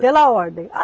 Pela ordem. A